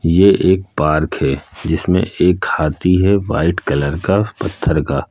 ये एक पार्क है जिसमें एक हाथी है वाइट कलर का पत्थर का।